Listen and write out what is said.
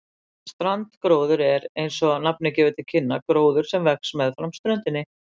Strandgróður er, eins og nafnið gefur til kynna, gróður sem vex meðfram ströndum.